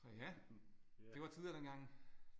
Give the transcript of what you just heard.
Så ja det var tider dengang